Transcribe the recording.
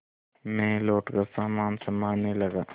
मैं लौटकर सामान सँभालने लगा